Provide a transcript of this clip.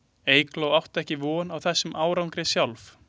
Eygló átti ekki von á þessum árangri sjálf.